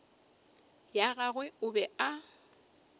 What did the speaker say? ya gagwe o be a